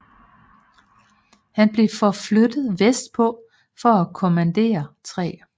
Han blev forflyttet vestpå for at kommandere 3